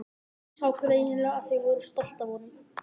Sá greinilega að þau voru stolt af honum.